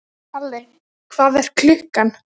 Kali, hvað er klukkan?